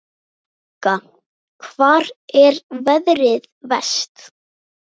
Helga: Hvar er veðrið verst?